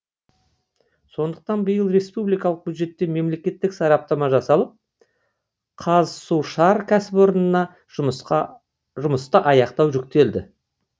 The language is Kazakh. сондықтан биыл республикалық бюджеттен мемлекеттік сараптама жасалып қазсушар кәсіпорынына жұмысты аяқтау жүктелді